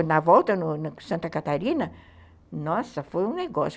Na volta, em Santa Catarina, nossa, foi um negócio.